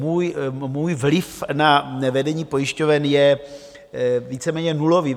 Můj vliv na vedení pojišťoven je víceméně nulový.